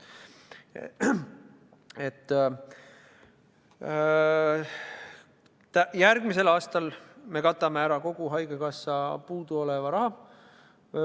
Järgmisel aastal me katame ära kogu haigekassa puuduoleva raha.